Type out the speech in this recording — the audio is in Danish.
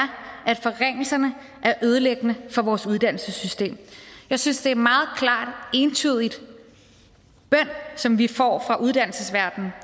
at forringelserne er ødelæggende for vores uddannelsessystem jeg synes det er en meget klar og entydig bøn som vi får fra uddannelsesverdenen